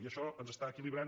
i això ens està equilibrant